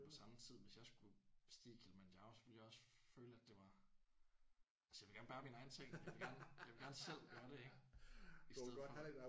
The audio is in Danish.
Så men på samme tid hvis jeg skulle bestige Kilimanjaro så ville jeg også føle at det var altså jeg vil gerne bære mine egne ting jeg vil gerne jeg vil gerne selv gøre det ik? I stedet for